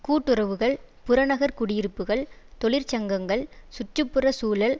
கூட்டுறவுகள் புறநகர் குடியிருப்புக்கள் தொழிற்சங்கங்கள் சுற்று புற சூழல்